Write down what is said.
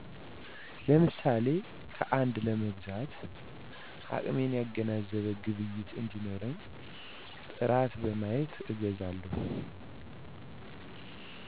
ለምሳሌ ከአንድ ለመግዛት አቅሜን ያገናዘበ ግብይት እንዲኖረኝ ጥራትን በማየት አገዛለሁ